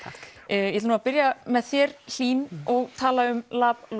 ég ætla að byrja með þér Hlín og tala um